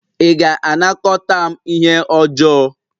Ị ga-anakọta m ihe ọjọọ?